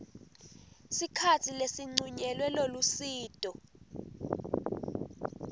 sikhatsi lesincunyelwe lolusito